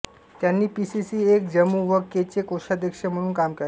त्यांनी PCC L Jammu व K चे कोषाध्यक्ष म्हणून काम पाहिले